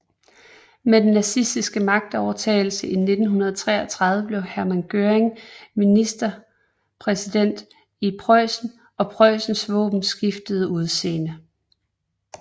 Med den nazistiske magtovertagelse i 1933 blev Hermann Göring ministerpræsident i Preussen og Preussens våben skiftede udseende